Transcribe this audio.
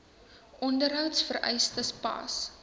onderhouds vereistes pas